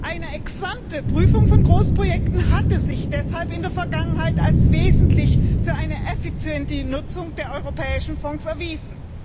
Eine Ex ante Prüfung von Großprojekten hatte sich deshalb in der Vergangenheit als wesentlich für eine effiziente Nutzung der europäischen Fonds erwiesen.